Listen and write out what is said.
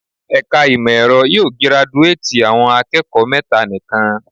Ẹ̀ka ìmọ̀ ẹ̀rọ yóò giraduátì àwọn akẹ́kọ̀ọ́ mẹ́ta nikan.